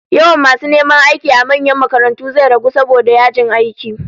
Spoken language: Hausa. Yawan masu neman aiki a manyan makarantu zai ragu saboda yajin aiki